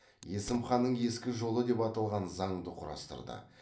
есім ханның ескі жолы деп аталған заңды құрастырды